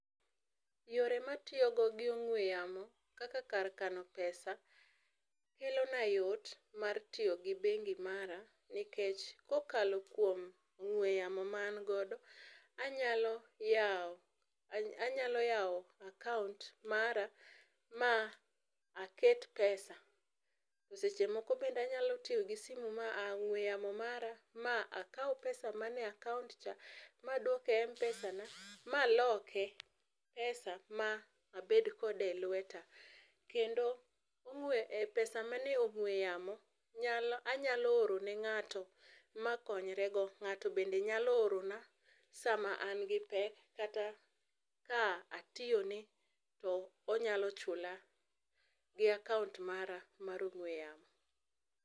Yore matiyogo gi ong'ue yamo kaka kar kano pesa kelona yot mar tiyo gi bengi mara nikech kokalo kuom ong'ue yamo ma an godo, anyalo yawo, anyalo yawo akaont mara ma aket pesa. Seche moko bende anyalo tiyo gi simu ma mara ma akaw pesa man e akaont cha maduok e m pesana maloke pesa ma abed kode elweta. Kendo rue epesa manie ong'ue yamo nyalo anyalo oro ne ng'ato makonyre godo. Ng'ato be nyalo orona sama an gi pek kata ka atiyone to onyalo chula gi akaont mara mar ong'ue yamo.